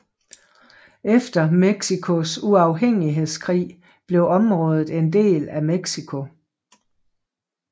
Efter Mexicos uafhængighedskrig blev området en del af Mexico